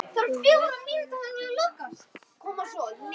Þú verður mér alltaf kærust.